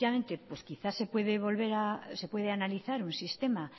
efectivamente pues quizá se puede analizar un sistema